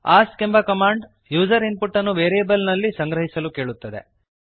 ask ಎಂಬ command user input ಅನ್ನು variable ನಲ್ಲಿ ಸಂಗ್ರಹಿಸಲು ಕೇಳುತ್ತದೆ